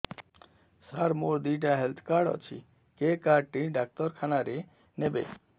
ସାର ମୋର ଦିଇଟା health card ଅଛି କେ କାର୍ଡ ଟି ଡାକ୍ତରଖାନା ରେ ନେବେ